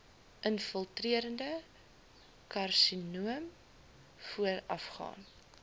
infiltrerende karsinoom voorafgaan